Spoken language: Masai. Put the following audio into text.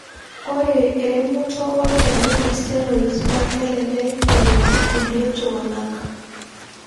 Ore eremoto olchani le steroid naa kelelek eret kulie tunganak.